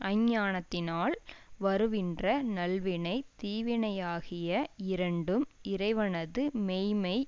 அஞ்ஞானத்தினால் வருவின்ற நல்வினை தீவினையாகிய இரண்டும் இறைவனது மெய்ம்மை